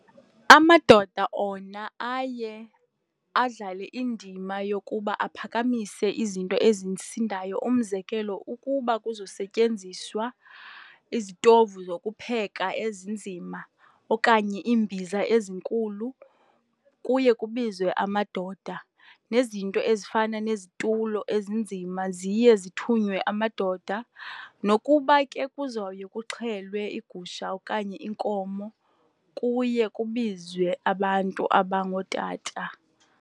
Amadoda ona aye adlale indima yokuba aphakamise izinto ezisindayo. Umzekelo, ukuba kuzosetyenziswa izitovu zokupheka ezinzima okanye iimbiza ezinkulu kuye kubizwe amadoda, nezinto ezifana nezitulo ezinzima ziye zithunywe amadoda. Nokuba ke kuzowuye kuxhelwe igusha okanye inkomo kuye kubizwe abantu abangootata.